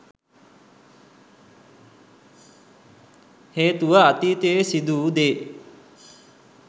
හේතුව අතීතයේ සිදුවූ දේ